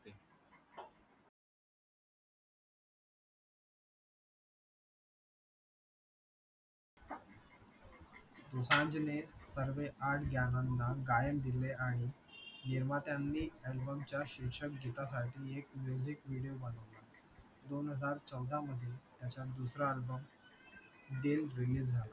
दोसांझने सर्व आठ गाण्यांना गायन दिले आणि निर्मात्यांनी album च्या शीर्षक गीतासाठी एक music video बनवला दोन हजार चौदा मध्ये त्याचा दुसरा album दिल release झाला